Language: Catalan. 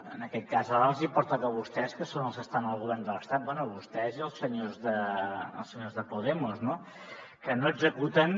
en aquest cas ara els hi pertoca a vostès que són els que estan al govern de l’estat bé a vostès i als senyors de podemos no que no executen